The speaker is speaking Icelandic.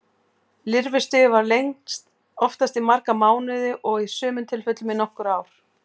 Lirfustigið varir lengst, oftast í marga mánuði og í sumum tilfellum í nokkur ár.